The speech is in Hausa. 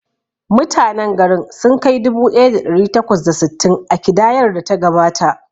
Mutanen garin sun kai dubu ɗaya da ɗari takwas da sittin a kidayar da ta gabata.